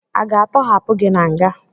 A ga-atọhapụ gị na nga?